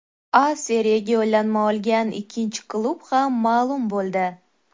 A Seriyaga yo‘llanma olgan ikkinchi klub ham ma’lum bo‘ldi.